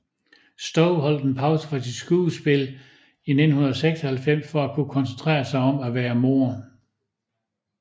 Stowe holdt en pause fra sit skuespil i 1996 for at kunne koncentrerer sig om at være mor